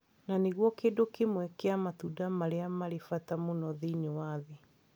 Na nĩ guo kĩndũ kĩmwe kĩa matunda marĩa marĩ bata mũno thĩinĩ wa thĩ.